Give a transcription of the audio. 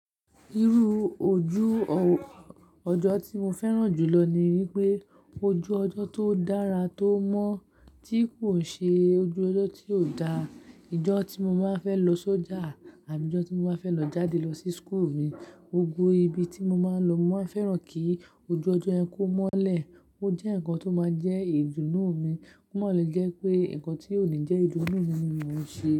Irú ojú ọjọ́ tí mo fẹ́ràn jùlọ ni wípé ojú ọjọ́ tó dára tó mọ́ tí kò ṣe ojú ọjọ́ tí ò dáa. Ìjọ́ tí mo máa fẹ́ lo sójà àbí ìjọ́ tí mo báa fẹ́ lọ jáde lọ sí school mi, gbogbo ibi tí mọ máa ń lọ, mọ màá n fẹ́ràn kí ojú ọjọ́ yẹn kó mọ́lẹ̀. Ó jẹ́ ǹkan tó máa ń jẹ́ ìdùnnú mi. Kò mọ́ lè jẹ́ pé, ǹkan tí ò ní jẹ́ ìdùnnú mi ni mò ń ṣe.